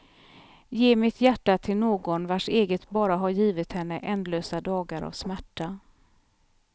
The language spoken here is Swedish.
Ge mitt hjärta till någon vars eget bara har givit henne ändlösa dagar av smärta.